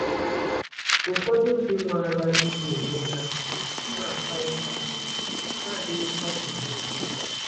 Ụfọdụ ndị nwara igbu onwe ha na-akwa ụta, ha adịghịkwa eme ya.